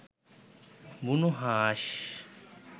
বুনোহাঁস